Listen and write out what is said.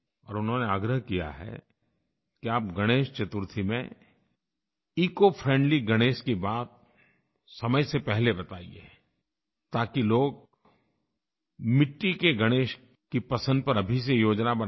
और उन्होंने आग्रह किया है कि आप गणेश चतुर्थी में इकोफ्रेंडली गणेश की बात समय से पहले बताइए ताकि लोग मिट्टी के गणेश की पसंद पर अभी से योजना बनाएँ